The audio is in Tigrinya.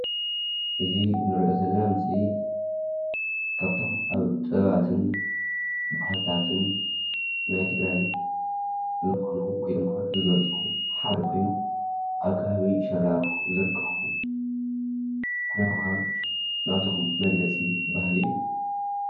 እዚ እንሪኦ ዘለና ምስሊ ካብቶም ኣብ ጥበባትን ባህልታትን ናይ ትግራይ ዝኾኑ ወይ ድማ ዝገልፁ ሓደ ኮይኑ ኣብ ከባቢ ሸራሮ ዝርከቡ ኩናማ ናቶም መግለፂ ባህሊ እዩ።